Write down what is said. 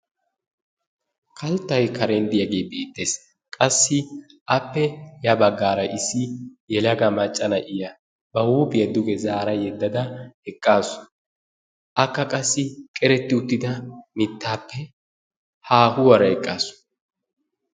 Kalttay karen de'iyagee beettees. Qassi appe ya baggaara issi yelaga macca na'iya ba huuphiya duge zaara yeddada eqqaasu. Akka qassi qeretti uttida mittaappe haahuwara eqqaasu.